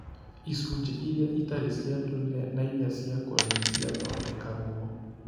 Icunjĩ iria itarĩ cia ndũire na iria ciakũre nĩ ciathondekagwo.